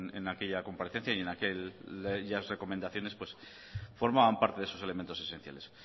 en aquella comparecencia y aquellas recomendaciones pues formaban parte de esos elementos esenciales